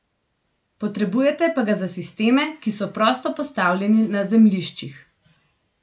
Potrebujete pa ga za sisteme, ki so prosto postavljeni na zemljiščih.